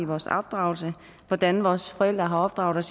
vores opdragelse hvordan vores forældre har opdraget